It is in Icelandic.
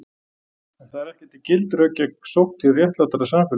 En það eru ekki gild rök gegn sókn til réttlátara samfélags.